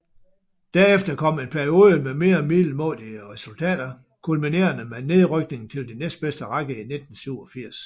Derefter kom en periode med mere middelmådige resultater kulminerende med nedrykningen til den næstbedste række i 1987